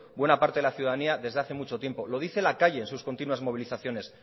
buena parte de la ciudadanía desde hace mucho tiempo lo dice la calle en sus continuas movilizaciones